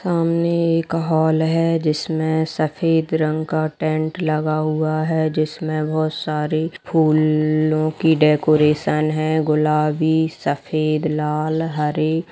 सामने एक हाल है जिसमें सफेद रंग का टेंट लगा हुआ है जिसमें बहुत सारे फूलों की डेकोरेशन है। गुलाबी सफेद लाल हरे--